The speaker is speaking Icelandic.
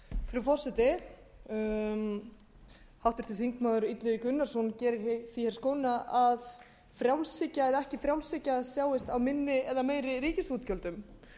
frú forseti háttvirtur þingmaður illugi gunnarsson gerir því skóna að frjálshyggja eða ekki frjálshyggja sjáist á minni eða meiri ríkisútgjöldum